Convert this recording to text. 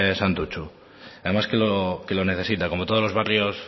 santutxu además que lo necesita como todos los barrios